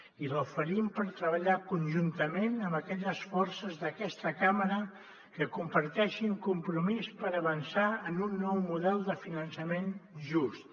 i l’oferim per treballar conjuntament amb aquelles forces d’aquesta cambra que comparteixin compromís per avançar en un nou model de finançament just